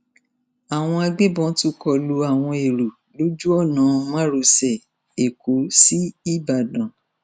àwọn agbébọn tún kọ lu àwọn èrò lójú ọnà márosẹ ẹkọ sí ìbàdàn